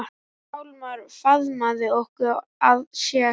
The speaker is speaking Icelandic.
Hjálmar faðmaði okkur að sér.